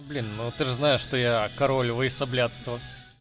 блин ну ты же знаешь что я король войсоблядства